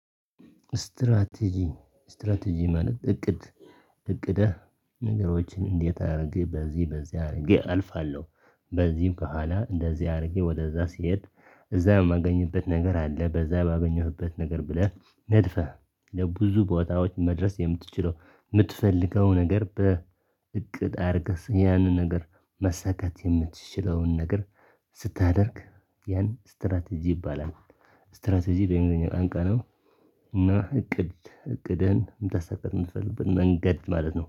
ስትራቴጂ ስትራቴጂ ማለት እቅድ እቅደ ነገሮችን እንዴት አድርግ በዚህ በዚያ አድርጌ አልፋለሁ። በዚህም ከኋላ እንደዚህ አድርጌ ወደዛ ሲሄድ እዛ የማገኝበት ነገር አለ። በዛ ባገኘሁበት ነገር ብለህ ነድፈህ ለብዙ ቦታዎች መድረስ የምትችለው የምትፈልገው ነገር በእቅድ አድርገህ ያንን ነገር መሰካት የምትችለውን ነገር ስታደርግ ያን ስትራቴጂ ይባላል። ስትራቴጂ በእንግሊዘኛ ቃንቃ ነው። እና እቅድ እቅድን እምታሳካበት መንገድ ማለት ነው